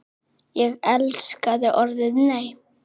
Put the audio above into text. Ég elskaði orðið NEI!